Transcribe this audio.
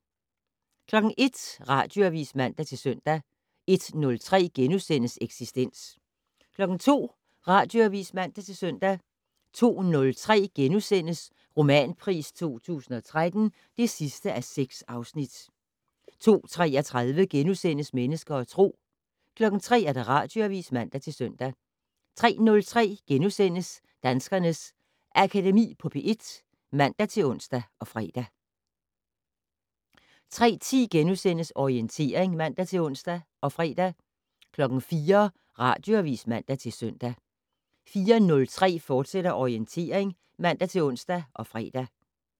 01:00: Radioavis (man-søn) 01:03: Eksistens * 02:00: Radioavis (man-søn) 02:03: Romanpris 2013 (6:6)* 02:33: Mennesker og Tro * 03:00: Radioavis (man-søn) 03:03: Danskernes Akademi på P1 *(man-ons og fre) 03:10: Orientering *(man-ons og fre) 04:00: Radioavis (man-søn) 04:03: Orientering, fortsat (man-ons og fre)